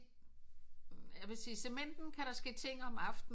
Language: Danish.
Jeg vil sige Cementen kan der ske ting om aftenen